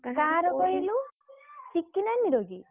କାହାର କହିଲୁ ଟିକି ନାନୀର କି?